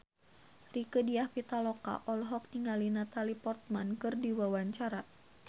Rieke Diah Pitaloka olohok ningali Natalie Portman keur diwawancara